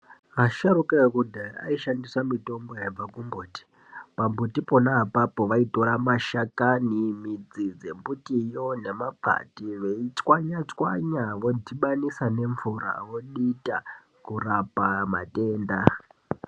Asharuka ekudhaya aishandisa mitombo yemakomboti. Pambuti pona apapo vaitora mashakani, midzi dzembitiyo nemakwande votswanya-tswanya vodhibanisa nemvura vodita kurapa matenda.